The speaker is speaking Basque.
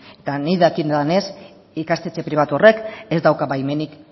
eta nik dakidanez ikastetxe pribatu horrek ez dauka baimenik